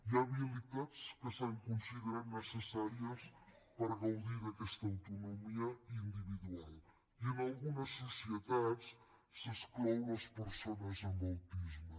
hi ha habilitats que s’han considerat necessàries per gaudir d’aquesta autonomia individual i en algunes societats s’exclou les persones amb autisme